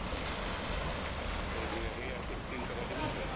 तु आता काय घरी कंटाळा येत असेल तुला